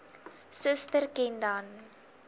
suster ken dan